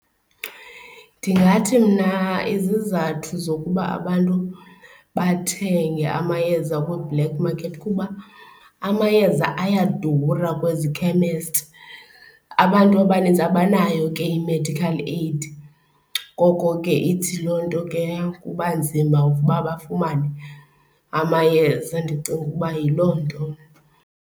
Ndingathi mna izizathu zokuba abantu bathenge amayeza kwi-black market kuba amayeza ayadura kwezi khemesti. Abantu abaninzi abanayo ke i-medical aid, ngoko ke ithi loo nto ke kuba nzima uba bafumane amayeza. Ndicinga uba yiloo nto mna.